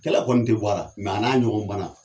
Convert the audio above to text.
Kɛlɛ kɔni te bɔra mɛ a n'a ɲɔgɔn banna